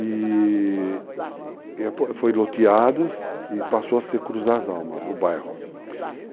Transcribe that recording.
E foi loteados e passou a ser Cruz das Almas, o bairro.